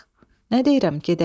Nə deyirəm, gedək?